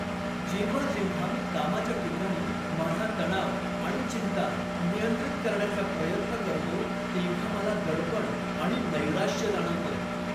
जेव्हा जेव्हा मी कामाच्या ठिकाणी माझा तणाव आणि चिंता नियंत्रित करण्याचा प्रयत्न करतो तेव्हा मला दडपण आणि नैराश्य जाणवतं.